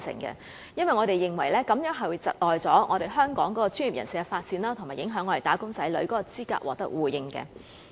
因為我們認為這樣會窒礙香港專業人士的發展，以及影響"打工仔女"的資格獲得互認。